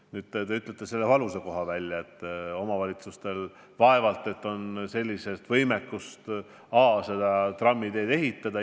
Te ütlesite välja ka selle valusa koha, et omavalitsustel vaevalt et on võimekust trammiteed ehitada.